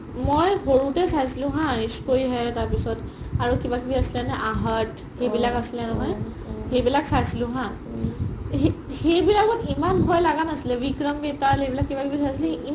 মই সৰুতে চাইছিলো হা Ssshhhh...Koi Hai তাৰপিছত আৰু কিবা কিবি আছিলে নে aahat সেইবিলাক আছিলে নহয় সেই বিলাক চাইছিলো হা সেই বিলাকত ইমান ভই লাগা নাছিলে ৱিক্ৰাম বেতাল এইবিলাক কিবা কিবি চাইছিলো ইমান